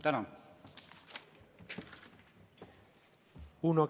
Tänan!